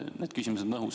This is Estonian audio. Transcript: Need küsimused on õhus.